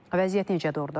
Vəziyyət necədir ordan?